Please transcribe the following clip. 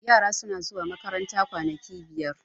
yara suna zuwa makaranta kwanaki biyar